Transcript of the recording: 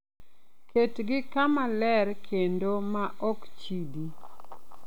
Ketgi kama ler kendo ma ok chidi.